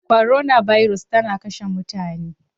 Korona birus tana kashe mutane.